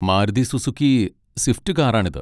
Maruti Suzuki Swift കാറാണിത്.